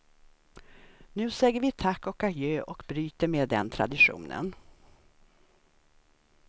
Nu säger vi tack och adjö och bryter med den traditionen.